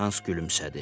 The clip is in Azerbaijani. Hans gülümsədi.